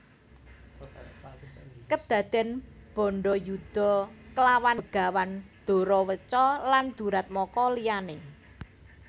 Kedaden bandayuda klawan Begawan Doraweca lan duratmaka liyane